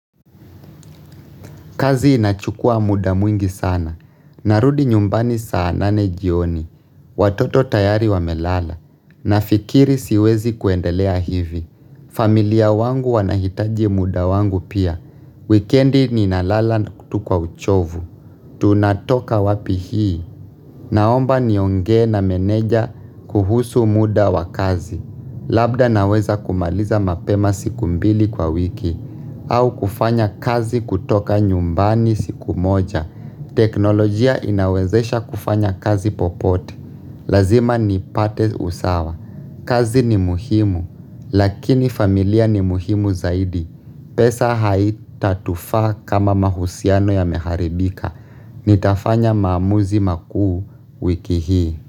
Kazi inachukua muda mwingi sana. Narudi nyumbani saa nane jioni. Watoto tayari wamelala. Nafikiri siwezi kuendelea hivi. Familia wangu wanahitaji muda wangu pia. Weekendi ninalala na tu kwa uchovu. Tunatoka wapi hii. Naomba nionge na meneja kuhusu muda wa kazi. Labda naweza kumaliza mapema siku mbili kwa wiki. Au kufanya kazi kutoka nyumbani siku moja. Teknolojia inawezesha kufanya kazi popote. Lazima nipate usawa. Kazi ni muhimu. Lakini familia ni muhimu zaidi. Pesa haitatufaa kama mahusiano yameharibika. Nitafanya maamuzi makuu wiki hii.